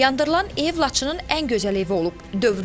Yandırılan ev Laçının ən gözəl evi olub.